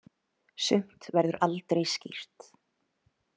Sumt verður aldrei skýrt.